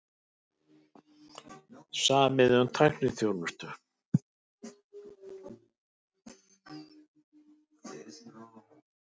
Samið um tækniþjónustu